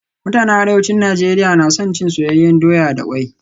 Mutanen Arewacin Najeriya na son cin soyayyen doya da kwai